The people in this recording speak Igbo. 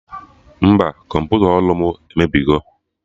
Mba, kọmputa ọrụ mụ emebigo